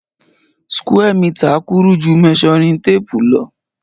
Square meter kúrú ju measuring tape lo